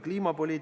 Hea minister!